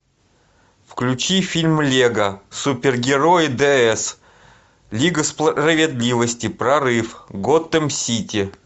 включи фильм лего супергерои дс лига справедливости прорыв готэм сити